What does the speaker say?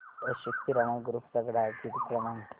Ashok Piramal group चा ग्राहक हित क्रमांक